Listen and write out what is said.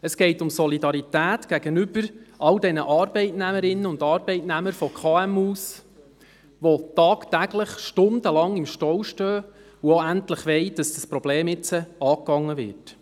Es geht um die Solidarität mit all den Arbeitnehmerinnen und Arbeitnehmern kleiner und mittlerer Unternehmen, die tagtäglich stundenlang im Stau stehen und wollen, dass dieses Problem endlich angegangen wird.